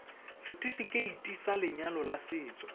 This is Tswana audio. setifikeiti sa lenyalo la setso